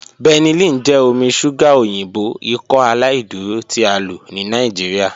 Benylin jẹ omi ṣuga oyinbo Ikọaláìdúró ti a lo ni Nigeria.